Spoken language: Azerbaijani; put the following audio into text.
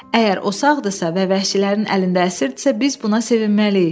Əgər o sağdırsa və vəhşilərin əlində əsirdirsə, biz buna sevinməliyik.